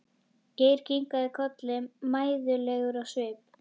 Geir kinkaði kolli mæðulegur á svip.